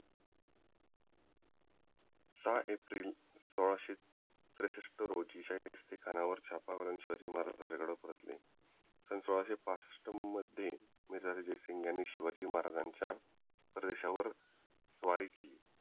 सहा एप्रिल सोळाशे साठ रोजी शाहिस्तेखानावर चाप टाकून शिवाजी महाराज राजगडावर परतले सन सोळाशे पासष्ठ मध्ये मिर्जराजे जयसिंघ यांनी शिवाजी महाराजांच्या परदेशवर स्वारी केली